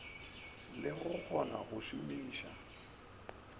le go kgona go šomiša